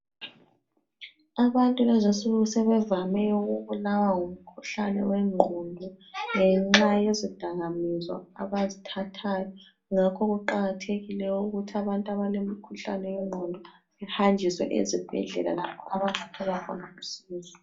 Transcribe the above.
Abantu kulezinsuku sebevame ukubulawa ngumkhuhlane wengqondo ngenxayezidakamiswa abazithathayo. Ngakho kuqakathekile ukuthi abantu abalemikhuhlane yengqondo behanjiswe ezibhedlela lapho abazathola khona usizo.